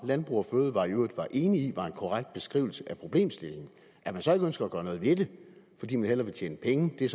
landbrug fødevarer jo i var enig i var en korrekt beskrivelse af problemstillingen at man så ikke ønsker at gøre noget ved det fordi man hellere vil tjene penge er